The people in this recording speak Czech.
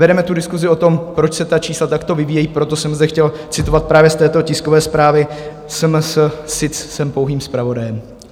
Vedeme tu diskusi o tom, proč se ta čísla takto vyvíjejí, proto jsem zde chtěl citovat právě z této tiskové zprávy SMS, sic jsem pouhým zpravodajem.